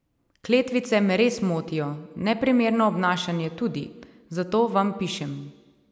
Kletvice me res motijo, neprimerno obnašanje tudi, zato vam pišem.